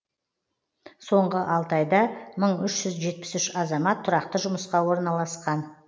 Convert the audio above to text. соңғы алты айда мың үш жүз жетпіс үш азамат тұрақты жұмысқа орналасқан